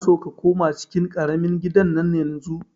Ina son ka koma cikin ƙaramin gidan nan yanzun!